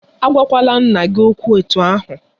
A gwakwala nna gị okwụ etu ahụ!